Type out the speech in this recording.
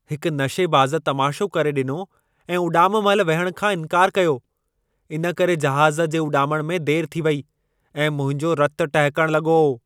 हिक नशेबाज़ तमाशो करे ॾिनो ऐं उॾाम महिल विहण खां इंकारु कयो। इन करे जहाज़ जे उॾामण में देरि थी वेई ऐं मुंहिंजो रतु टहिकण लॻो।